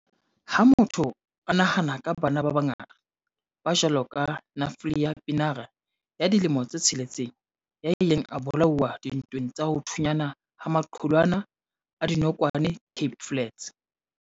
Ha motho a nahana ka bana ba bangata, ba jwalo ka Nathlia Pienaar, ya dilemo tse tsheletseng, ya ileng a bola uwa dintweng tsa ho thunyana ha maqulwana a dinokwane Cape Flats.